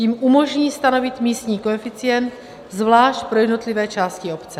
Tím umožní stanovit místní koeficient zvlášť pro jednotlivé části obce.